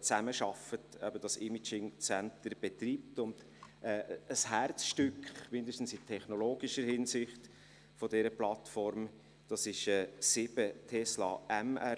zusammenarbeiten, das Imaging Center betreiben und ein Herzstück, mindestens in technologischer Hinsicht, bilden mit sieben Tesla-MRIGeräten.